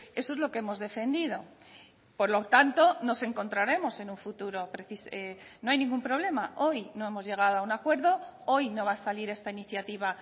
eso es lo que hemos defendido por lo tanto nos encontraremos en un futuro no hay ningún problema hoy no hemos llegado a un acuerdo hoy no va a salir esta iniciativa